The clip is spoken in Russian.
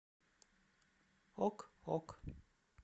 ок ок